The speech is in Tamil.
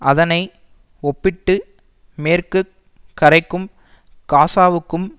அதனை ஒப்பிட்டு மேற்கு கரைக்கும் காசாவுக்கும்